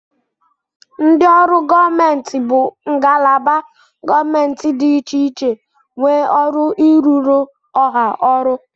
Ndị ọrụ gọọmenti bụ ndị ngalaba gọọmentị dị iche iche nwee ọrụ ịrụrụ Ọha ọrụ.